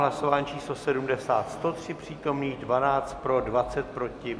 Hlasování číslo 70, 103 přítomných, 12 pro, 20 proti.